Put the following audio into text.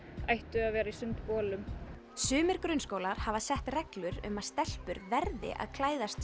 ættu að vera í sundbolum sumir grunnskólar hafa sett reglur um að stelpur verði að klæðast